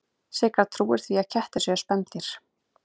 Sigga trúir því að kettir séu spendýr.